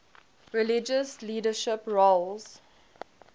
religious leadership roles